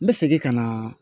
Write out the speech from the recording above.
N bɛ segin ka na